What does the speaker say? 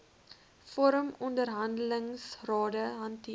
vorm onderhandelingsrade hanteer